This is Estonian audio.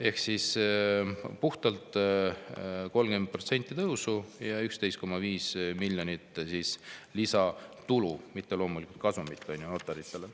Ehk siis puhtalt 30% tõusu ja 11,5 miljonit lisatulu, mitte loomulikult kasumit notaritele.